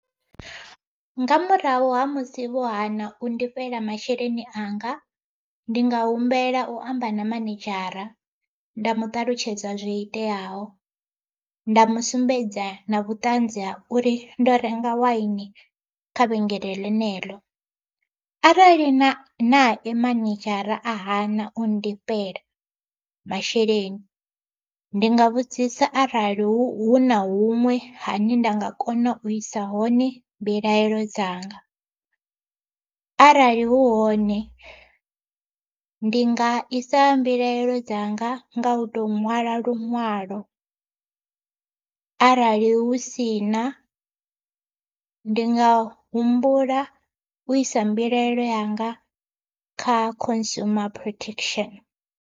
Nga murahu ha musi vho hana u ndifhela masheleni anga, ndi nga humbela u amba na manedzhara nda mu ṱalutshedza zwo iteaho. Nda mu sumbedza na vhuṱanzi ha uri ndo renga waini kha vhengele ḽeneḽo, arali na nae manedzhara a hana u ndifhela masheleni, ndi nga vhudzisa arali hu na huṅwe hane nda nga kona u isa hone mbilahelo dzanga. Arali hu hone ndi nga isa mbilaelo dzanga nga u to ṅwala luṅwalo arali hu si na, ndi nga humbula u isa mbilaelo yanga kha consumer protection.